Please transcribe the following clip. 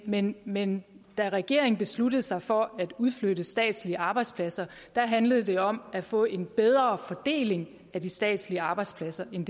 men men da regeringen besluttede sig for at udflytte statslige arbejdspladser handlede det om at få en bedre fordeling af de statslige arbejdspladser end